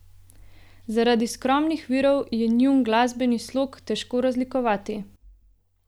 Zaradi skromnih virov je njun glasbeni slog težko razlikovati.